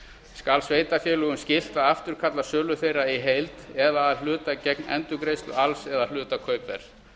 skal sveitarfélögum skylt að afturkalla sölu þeirra í heild eða að hluta gegn endurgreiðslu alls eða hluta kaupverðs